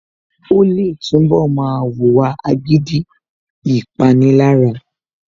Ó lè túnbọ̀ máa wùwà agídí / Ìpanilára